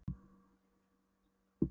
Hún varð í raun bæði spennt og hissa